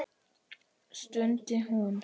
stundi hún.